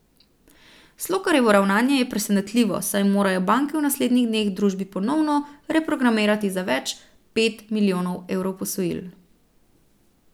Slokarjevo ravnanje je presenetljivo, saj morajo banke v naslednjih dneh družbi ponovno reprogramirati za več pet milijonov evrov posojil.